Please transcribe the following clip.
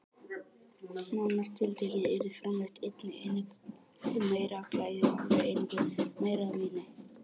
Nánar tiltekið yrði framleitt einni einingu meira af klæði og hálfri einingu meira af víni.